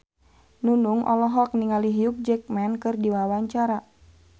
Nunung olohok ningali Hugh Jackman keur diwawancara